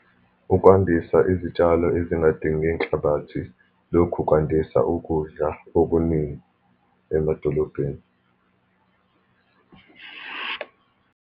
Ukwandisa izitshalo ezingadinge inhlabathi, lokhu kwandisa ukudla okuningi emadolobheni.